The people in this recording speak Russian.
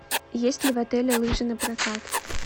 есть ли в отеле лыжи на прокат